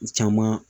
Caman